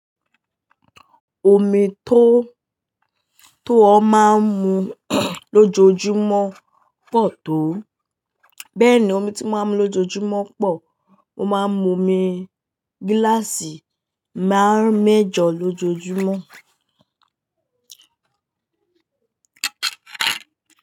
Omi tó, tó ọ máa ń mu lójoojúmọ́ pọ̀ tó. Bẹ́ẹ̀ni omi tí mo máa ń mu lójoojúmọ́ pọ̀. Mo máa ń mu omi gíláàsì máàrún mẹ́jọ lójoojúmọ́.